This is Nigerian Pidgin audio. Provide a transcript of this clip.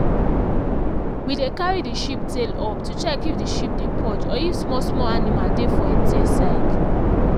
we dey carry the sheep tail up to check if the sheep dey purge or if small small animal dey for en tail side